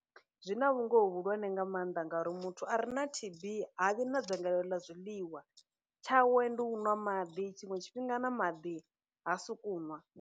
Zwina vhungoho vhuhulwane nga maanḓa ngauri muthu a re na T_B ha vhi na dzangalelo ḽa zwiḽiwa, tshawe ndi u nwa maḓi, tshiṅwe tshifhinga na maḓi ha suku nwa.